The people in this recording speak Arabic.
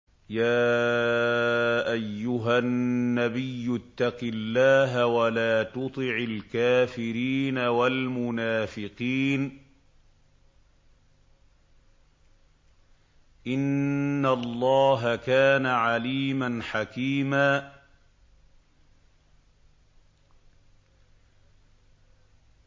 يَا أَيُّهَا النَّبِيُّ اتَّقِ اللَّهَ وَلَا تُطِعِ الْكَافِرِينَ وَالْمُنَافِقِينَ ۗ إِنَّ اللَّهَ كَانَ عَلِيمًا حَكِيمًا